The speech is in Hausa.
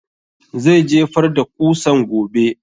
Zai jefar da ƙusan gobe